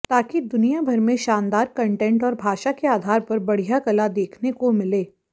ताकि दुनियाभर में शानदार कंटेंट और भाषा के आधार पर बढ़िया कला देखने को मिले